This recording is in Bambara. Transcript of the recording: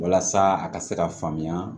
Walasa a ka se ka faamuya